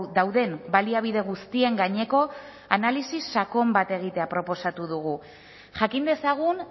dauden baliabide guztien gaineko analisi sakon bat egitea proposatu dugu jakin dezagun